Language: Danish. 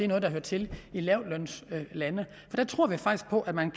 noget der hører til i lavtlønslande der tror vi faktisk på at man